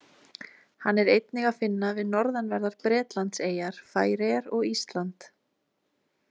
Hann er einnig að finna við norðanverðar Bretlandseyjar, Færeyjar og Ísland.